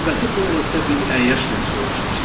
Növbəti planetdə bir əyyaş məskunlaşmışdı.